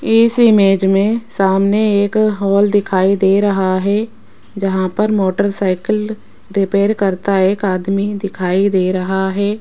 इस इमेज में सामने एक हाल दिखाई दे रहा है जहां पर मोटरसाइकिल रिपेयर करता एक आदमी दिखाई दे रहा है।